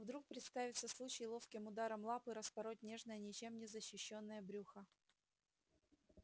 вдруг представится случай ловким ударом лапы распороть нежное ничем не защищённое брюхо